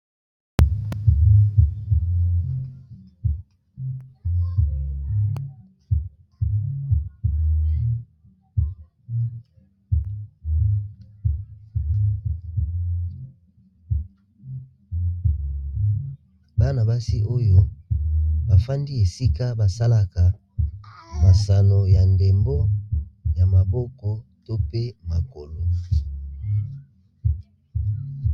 Bana basi oyo bafandi esika basalaka mosano ya ndembo ya maboko to pe makolo.